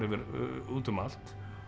út um allt